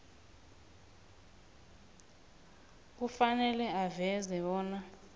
kufanele aveze bona